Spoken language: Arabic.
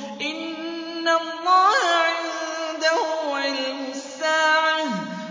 إِنَّ اللَّهَ عِندَهُ عِلْمُ السَّاعَةِ